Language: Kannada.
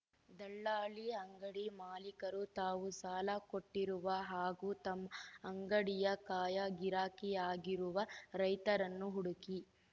ದಲ್ಲಾಳಿ ಅಂಗಡಿ ಮಾಲಿಕರು ತಾವು ಸಾಲ ಕೊಟ್ಟಿರುವ ಹಾಗೂ ತಮ್ಮ ಅಂಗಡಿಯ ಕಾಯ ಗಿರಾಕಿಯಾಗಿರುವ ರೈತರನ್ನು ಹುಡುಕಿ